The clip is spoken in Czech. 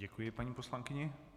Děkuji paní poslankyni.